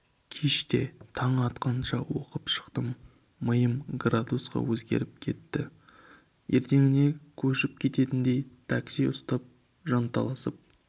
кеште таң атқанша оқып шықтым миым градусқа өзгеріп кетті ертеңіне көшіп кететіндей такси ұстап жанталасып